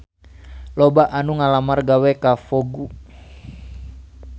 Loba anu ngalamar gawe ka Vogue